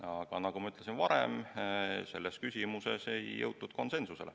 Aga nagu ma varem ütlesin, selles küsimuses ei jõutud konsensusele.